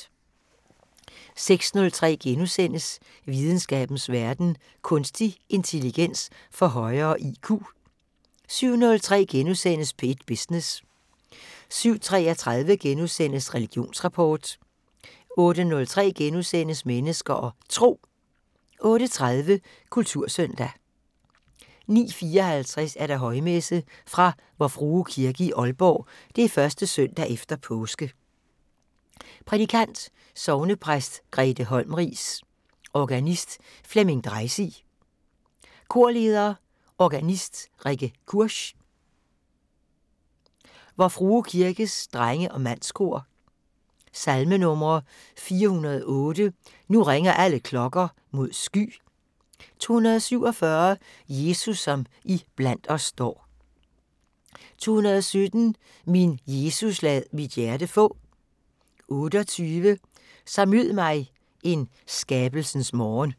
06:03: Videnskabens Verden: Kunstig intelligens får højere IQ * 07:03: P1 Business * 07:33: Religionsrapport * 08:03: Mennesker og Tro * 08:30: Kultursøndag 09:54: Højmesse - Fra Vor Frue Kirke i Aalborg. 1. søndag efter påske. Prædikant: Sognepræst Grethe Holmriis. Organist: Flemming Dreisig. Korleder: Organist Rikke Kursch. Vor Frue Kirkes Drenge-Mandskor. Salmenumre: 408: "Nu ringer alle klokker mod sky". 247: "Jesus som i blandt os står". 217: "Min Jesus lad mit hjerte få". 28: "Så mød mig en skabelsens morgen".